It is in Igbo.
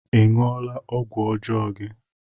Ị ṅụọla ọgwụ ọjọọ gị?